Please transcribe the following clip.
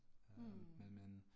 Mh